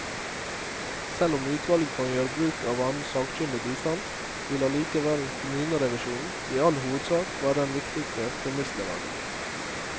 Selv om utvalget kan gjøre bruk av annen sakkyndig bistand, vil allikevel kommunerevisjonen i all hovedsak være den viktigste premissleverandør.